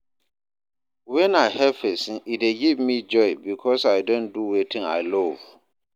Wen I help pesin e dey give me joy because I don do wetin I love